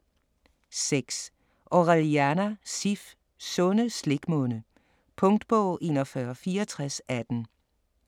6. Orellana, Sif: Sunde slikmunde Punktbog 416418